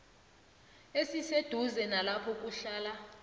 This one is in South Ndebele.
esiseduze nalapho kuhlala